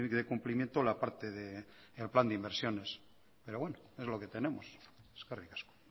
cumplimiento la parte del plan de inversiones pero bueno es lo que tenemos eskerrik asko